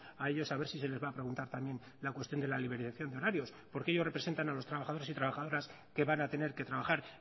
a ellos a ver si se les va a preguntar también la cuestión de la liberalización de horarios porque ellos representan a los trabajadores y trabajadoras que van a tener que trabajar